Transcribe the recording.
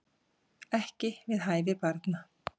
Ekki við hæfi barna